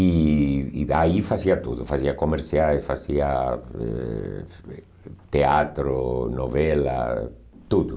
E e aí fazia tudo, fazia comerciais, fazia eh teatro, novela, tudo.